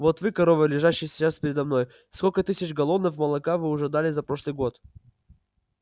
вот вы коровы лежащие сейчас передо мной сколько тысяч галлонов молока вы уже дали за прошлый год